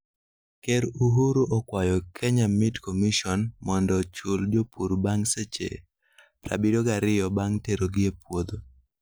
Ker Uhuru okwayo Kenya Meat Commission mondo ochul jopur bang' seche 72 bang' terogi e puodho